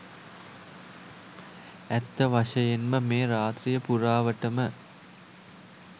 ඇත්ත වශයෙන්ම මේ රාත්‍රිය පුරාවටම